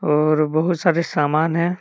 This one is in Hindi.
और बहुत सारे सामान हैं।